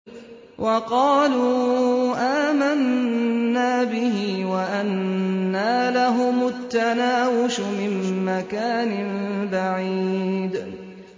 وَقَالُوا آمَنَّا بِهِ وَأَنَّىٰ لَهُمُ التَّنَاوُشُ مِن مَّكَانٍ بَعِيدٍ